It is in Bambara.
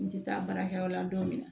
N tɛ taa baarakɛyɔrɔ la don min na